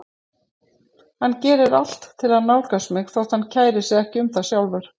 Hann gerir allt til að nálgast mig þótt hann kæri sig ekki um það sjálfur.